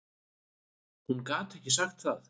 Hún gat ekki sagt það.